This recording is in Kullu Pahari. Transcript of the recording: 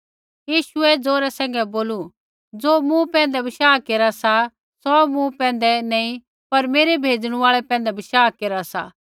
यीशुऐ ज़ोरै सैंघै बोलू ज़ो मूँ पैंधै बशाह केरा सा सौ मूँ पैंधै नैंई पर मेरै भेजणु आल़ै पैंधै बशाह केरा सा